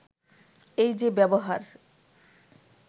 “এই যে ব্যবহার